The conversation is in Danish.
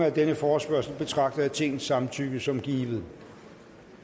af denne forespørgsel betragter jeg tingets samtykke som givet